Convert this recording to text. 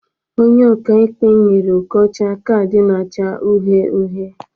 Onye ọka ikpe nyere Okocha kaadị na-acha uhie uhie.